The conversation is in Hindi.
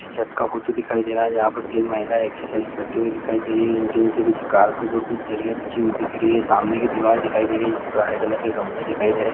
ये छत का फोटो दिखाई दे रहा है जहाँ पर तीन महिलाये एक्साइज़ करते हुए दिखाई दे रही है उनके नीचे कुछ कार्पेट ओर कुछ दरिया बिछी हुई दिख रही है सामने की दीवाल दिखाई दे रही है जिस पे हरे कलर के गमले दिखाई दे रहे है।